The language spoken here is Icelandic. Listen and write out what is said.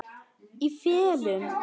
Í felum.